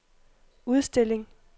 udstilling